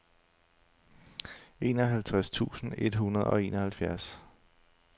enoghalvtreds tusind et hundrede og enoghalvfjerds